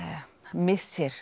missir